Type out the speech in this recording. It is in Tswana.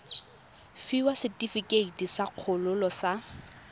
fiwa setefikeiti sa kgololo sa